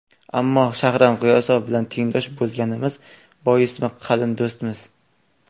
Ammo Shahram G‘iyosov bilan tengdosh bo‘lganimiz boismi, qalin do‘stmiz.